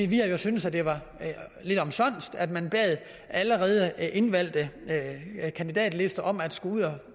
vi har jo syntes at det var lidt omsonst at man bad allerede indvalgte kandidater om at skulle ud og